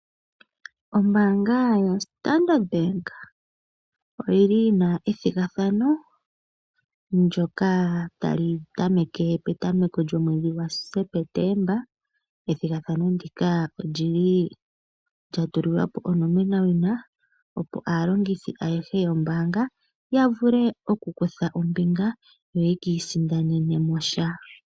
Ombaanga yoStandard bank oyili yina ethigathano ndyoka tali tameke petameko lyomwedhi gwaSepetemba. Ethigathano ndika olyili lyatulilwa po onomenawina opo aalongithi ayehe yombaanga yavule okukutha ombinga yo yeki isindanene mo sha.